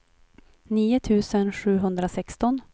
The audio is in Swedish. nio tusen sjuhundrasexton